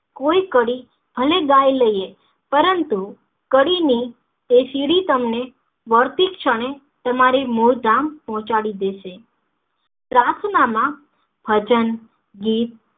કોઈ કડી ભલે ગાય લઈએ પરંતુ કડીને એ શીરી તમને વળતી ક્ષણે તમારી મૂળગામ પોહંચડી દેશે પ્રાર્થના માં ભજન ગીત